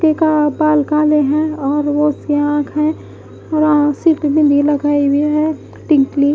. जी का बाल काले है और वो उसकी आंख है और अ सिर पे बिंदी लगाई हुई है टिंकली--